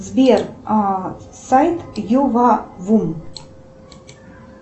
сбер сайт ювавум